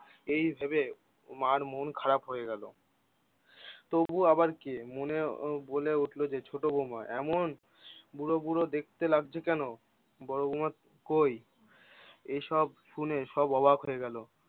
এই ভেবে মার মন খারাপ হয়ে গেলো। তবু আবার কে মনে এহ বলে ওঠলো যে ছোট বৌমা, এমন বুড়ো বুড়ো দেখতে লাগছো কেনো? বড় বৌমা কই? এইসব শুনে সব অবাক হয়ে গেল!